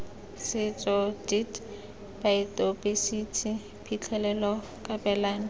setso deat baotaebesithi phitlhelelo kabelano